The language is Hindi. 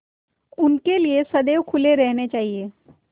उनके लिए सदैव खुले रहने चाहिए